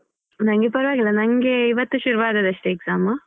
ನಂಗೆ ಪರವಾಗಿಲ್ಲ ನಂಗೆ ಇವತ್ತು ಶುರು ಅದದಷ್ಟೇ exam .